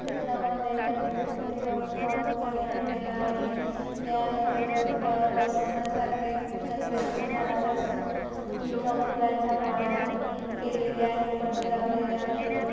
या चित्रामध्ये गणपती बाप्पा घरी आणलेला आहे या गणपती बाप्पा बसवण्यासाठी गणपतीच्या आरस ही एका फुलांच्या माळांनी केलेले आहे पडदे लावलेले आहेत.